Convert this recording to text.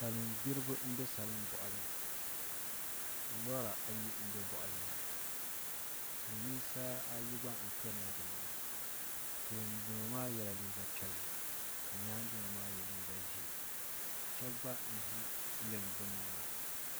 Salin gbiribi n bɛ salin boɣali ni lora ayi n bɛ boɣali maa ni silmiinsi ayi gba n kanna dinni maa tooni dino maa yɛla liiga piɛlli ka nyaangi dino maa yɛ liiga ʒiɛ shab gba n ʒi lɛm gbunni maa